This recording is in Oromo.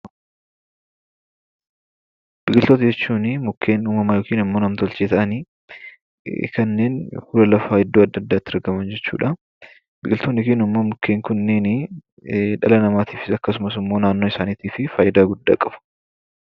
Biqiltoota jechuun mukkeen uumamaa yookaan nam-tolchee ta'anii, kanneen fuula lafaa iddoo adda addaa irratti argaman jechuudha. Biqiltoonni yookiin mukkeenni kuni dhala namaatiif akkasumas naannoo isaaniitif faayidaa guddaa qabu.